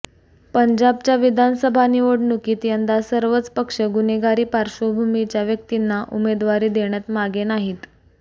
पंजाबच्या विधानसभा निवडणुकीत यंदा सर्वच पक्ष गुन्हेगारी पार्श्वभूमीच्या व्यक्तींना उमेदवारी देण्यात मागे नाहीत